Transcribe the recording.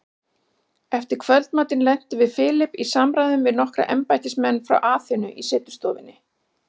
Eftir kvöldmatinn lentum við Philip í samræðum við nokkra embættismenn frá Aþenu í setustofunni.